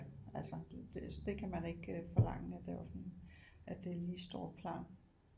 Altså det kan man ikke forlange af det offentlige at det lige står klar